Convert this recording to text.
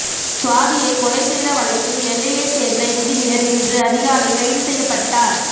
சுவாதியை கொலை செய்த வழக்கில் நெல்லையை சேர்ந்த இன்ஜினியர் இன்று அதிகாலை கைது செய்யப்பட்டார்